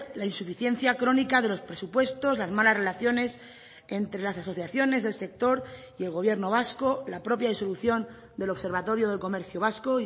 la insuficiencia crónica de los presupuestos las malas relaciones entre las asociaciones del sector y el gobierno vasco la propia disolución del observatorio del comercio vasco